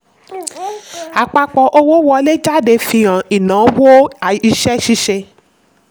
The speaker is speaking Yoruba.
àpapọ̀ owó wọlé jáde fi hàn ináwó iṣẹ́-ṣíṣe.